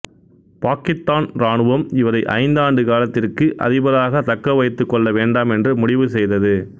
பாக்கித்தான் இராணுவம் இவரை ஐந்து ஆண்டு காலத்திற்கு அதிபராக தக்க வைத்துக் கொள்ள வேண்டாம் என்று முடிவு செய்தது